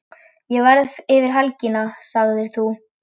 Ég verð yfir helgina, sagðir þú.